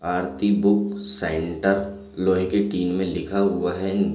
आरती book centre लोहे के tin में लिखा हुआ है।